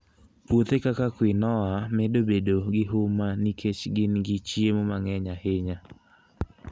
Puothe kaka quinoa medo bedo gi huma nikech gin gi chiemo mang'eny ahinya.